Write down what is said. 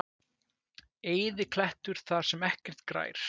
Eyðiklettur þar sem ekkert grær?